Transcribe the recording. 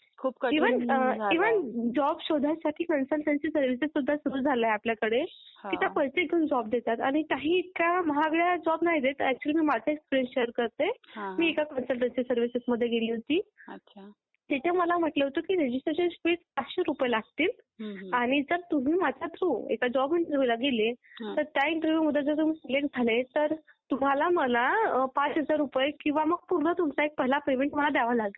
खूप कठीण झालंय